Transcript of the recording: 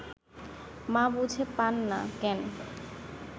মা বুঝে পান না, কেন